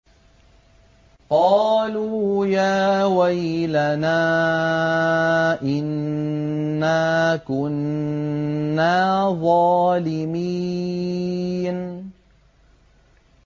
قَالُوا يَا وَيْلَنَا إِنَّا كُنَّا ظَالِمِينَ